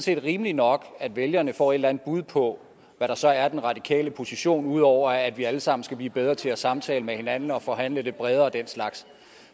vel rimeligt nok at vælgerne får et eller andet bud på hvad der så er den radikale position ud over at vi alle sammen skal blive bedre til at samtale med hinanden og forhandle lidt bredere og den slags